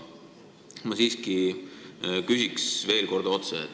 Ma siiski küsin veel kord otse.